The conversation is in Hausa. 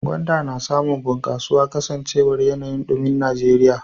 Gwanda na samun bunkasuwa kasancewar yanayin dumin Najeriya.